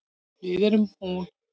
Við erum hún.